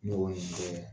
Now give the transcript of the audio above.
Ne b'o nin kɛ